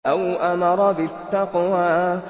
أَوْ أَمَرَ بِالتَّقْوَىٰ